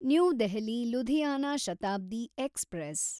new Delhi Ludhiana Shatabdi express